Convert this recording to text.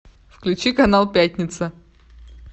включи канал пятница